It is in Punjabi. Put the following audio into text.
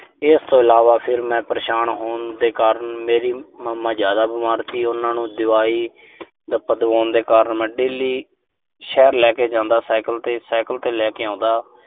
ਇਸ ਤੋਂ ਇਲਾਵਾ, ਫਿਰ ਮੈਂ ਪਰੇਸ਼ਾਨ ਹੋਣ ਦੇ ਕਾਰਨ, ਮੇਰੀ mama ਜ਼ਿਆਦਾ ਬਿਮਾਰ ਸੀ ਉਨ੍ਹਾਂ ਨੂੰ ਦਵਾਈ-ਦੱਪਾ ਦਵਾਉਣ ਦੇ ਕਾਰਨ ਮੈਂ daily ਸ਼ਹਿਰ ਲੈ ਕੇ ਜਾਂਦਾ ਸਾਈਕਲ ਤੇ। ਸਾਈਕਲ ਤੇ ਲੈ ਕੇ ਆਉਂਦਾ।